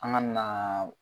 An kana na.